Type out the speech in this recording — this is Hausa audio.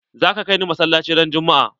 Zaka kai ni masalaci ran juma'a?